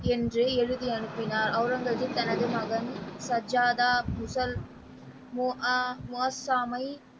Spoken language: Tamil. என்று எழுதி அனுப்பினார் அவுரங்கசீப் தனது மகன் சர்ஜாதா முதல் மோ ஆ முகத்தாமை.